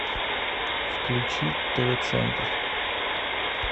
включи тв центр